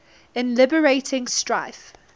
in liberating strife